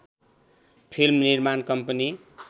film निर्माण company